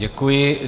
Děkuji.